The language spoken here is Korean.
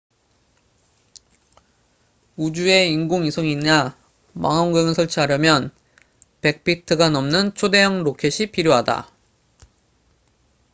우주에 인공위성이나 망원경을 설치하려면 100피트가 넘는 초대형 로켓이 필요하다